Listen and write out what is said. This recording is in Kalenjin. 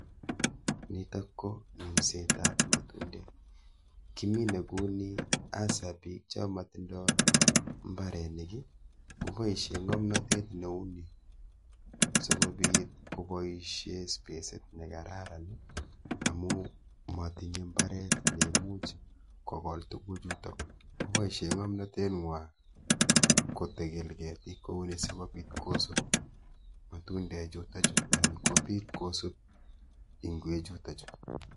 Nitok ko minsetab matundek. Kimine kuni hasa biik cho motindoi mbarenik ii, koboisie ng'omnotet neu ni sokobit koboisie spesit ne kararan, amu matinye mbaret ne imuch kogol tuguchutok. Koboisie ng'omnotet ng'wa kotegel ketiik kou ni sikobit kosub matundechuto chu anan kobit kosub ingwechuto chu.